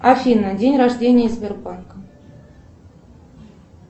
афина день рождение сбербанка